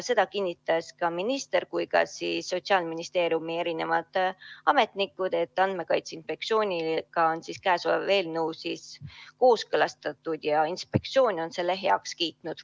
Seda kinnitasid nii minister kui ka Sotsiaalministeeriumi ametnikud, et Andmekaitse Inspektsiooniga on eelnõu kooskõlastatud ja inspektsioon on selle heaks kiitnud.